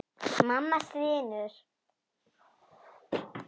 Mamma stynur.